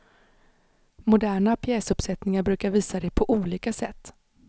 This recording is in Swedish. Moderna pjäsuppsättningar brukar visa det på olika sätt.